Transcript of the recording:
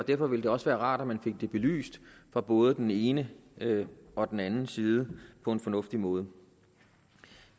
derfor ville det også være rart at man fik det belyst fra både den ene ene og den anden side på en fornuftig måde